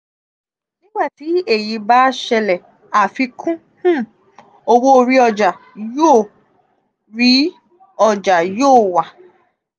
um nigbati eyi ba ṣẹlẹ afikun um owo ori oja yo ori oja yo wa